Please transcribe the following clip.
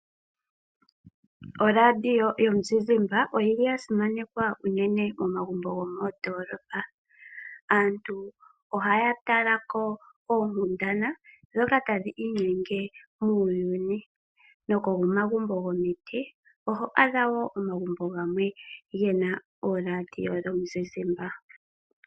Orandio yo muzizimba oyili ya simanekwa uunene momagumbo gomoondolopa. Aantu ohaya talako oonkundana ndhoka tadhi inyenge muuyuni. No komagumbo gomiti oho adha wo omagumbo gena orandio yo muzizimba.